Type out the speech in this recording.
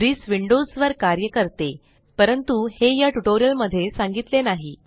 brisk Windows वर कार्य करते परंतु हे या ट्यूटोरियल मध्ये सांगितले नाही